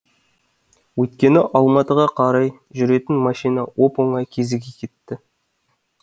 өйткені алматыға қарай жүретін машина оп оңай кезіге кетті